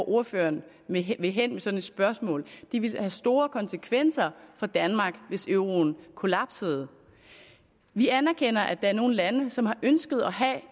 ordføreren vil hen med sådan et spørgsmål det ville have store konsekvenser for danmark hvis euroen kollapsede vi anerkender at der er nogle lande som har ønsket at have